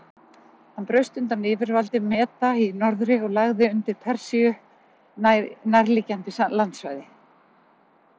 Hann braust undan yfirvaldi Meda í norðri og lagði undir Persíu nærliggjandi landsvæði.